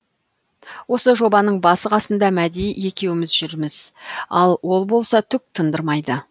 осы жобаның басы қасында мәди екеуміз жүрміз ал ол болса түк тындырмайды